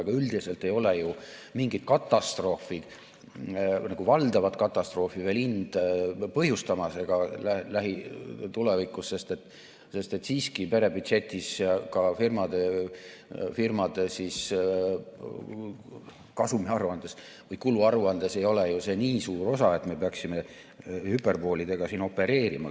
Aga üldiselt ei ole ju mingit valdavat katastroofi hind veel põhjustamas ega juhtu seda ka lähitulevikus, sest siiski perebüdžetis ja ka firmade kasumiaruandes või kuluaruandes ei ole ju see osa nii suur, et me peaksime siin hüperboolidega opereerima.